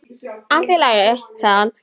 Allt í lagi, sagði hann.